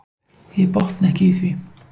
Ég botna ekki í því.